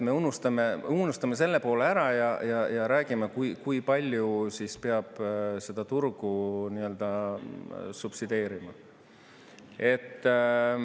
Me unustame selle poole ära ja räägime, kui palju siis peab seda turgu nii-öelda subsideerima.